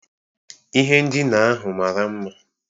Ihe ndina ahụ mara mma